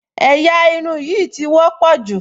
Ẹ̀yà irun yìí ti wọ́pọ̀ jù